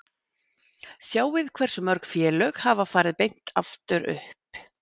Sjáið hversu mörg félög hafa farið beint aftur upp?